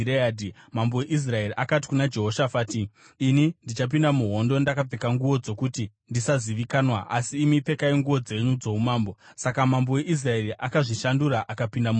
Mambo weIsraeri akati kuna Jehoshafati, “Ini ndichapinda muhondo ndakapfeka nguo dzokuti ndisazivikanwa asi imi pfekai nguo dzenyu dzoumambo.” Saka mambo weIsraeri akazvishandura akapinda muhondo.